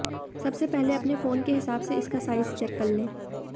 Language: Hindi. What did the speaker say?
सबसे पहले अपने फ़ोन के हिसाब से इसका साइज़ चेक कर लें